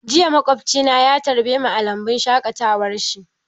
Jiya maƙwabci na ya tarbemu a lambun shaƙatawar shi.